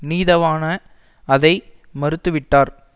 நீதவான அதை மறுத்து விட்டார்